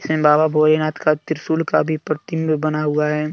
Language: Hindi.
बाबा भोलेनाथ का त्रिशूल का भी प्रतिबिंब बना हुआ है।